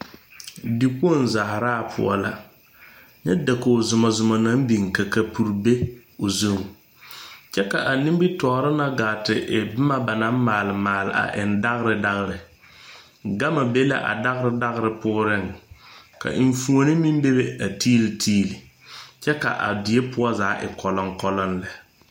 Dekpoŋ zaaraa poɔ la nyɛ dakoge zumɔ zumɔ naŋ biŋ ka kapure be a o zu kyɛ ka a nimitoore na gaa te bomma ba naŋ maale maale a eŋ dagre dagre gama be la a dagre dagre pooriŋ ka eŋfuone meŋ be be a tiile tiile kyɛ ka a die poɔ zaa kɔlɔŋkɔlɔŋ lɛ.